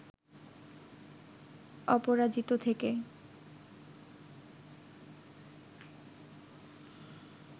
অপরাজিত থেকে